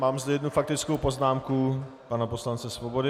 Mám zde jednu faktickou poznámku pana poslance Svobody.